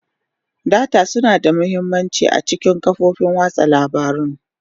Data suna da mahimmanci a cikin kafofin watsa labarun.